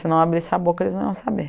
Se não abrisse a boca, eles não iam saber.